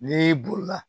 N'i bolila